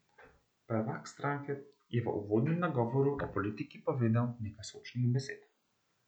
Prvak stranke je v uvodnem nagovoru o politiki povedal nekaj sočnih besed.